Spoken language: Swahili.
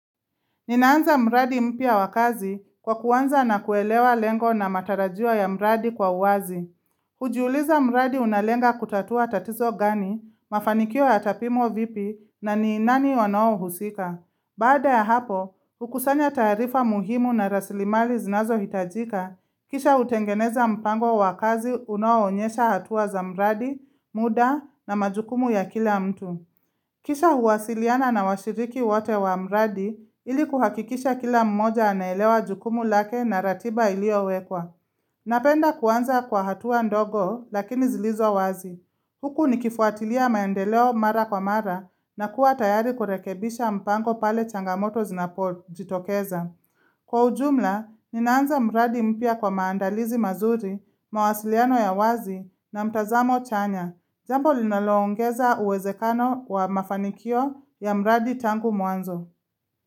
Ninaanza mradi mpya wa kazi kwa kuanza na kuelewa lengo na matarajio ya mradi kwa uwazi. Kujiuliza mradi unalenga kutatua tatizo gani, mafanikio yatapimwa vipi na ninani wano husika. Baada ya hapo, hukusanya taarifa muhimu na raslimali zinazohitajika, kisha utengeneza mpango wa kazi unaoonyesha hatua za mradi, muda na majukumu ya kila mtu. Kisha huwasiliana na washiriki wote wa mradi ili kuhakikisha kila mmoja anaelewa jukumu lake na ratiba iliowekwa. Napenda kuanza kwa hatua ndogo lakini zilizo wazi. Huku nikifuatilia maendeleo mara kwa mara na kuwa tayari kurekebisha mpango pale changamoto zinapojitokeza. Kwa ujumla, ninaanza mradi mpya kwa maandalizi mazuri, mawasiliano ya wazi na mtazamo chanya. Jambo linaloongeza uwezekano wa mafanikio ya mradi tangu mwanzo.